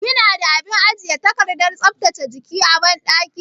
Kina da abin ajiye takardar tsaftace jiki a banɗaki?